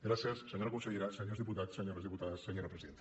gràcies senyora consellera senyors diputats senyores diputades senyora presidenta